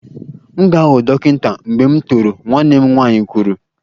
M ga-aghọ dọkịta mgbe m toro, nwanne m nwanyị kwuru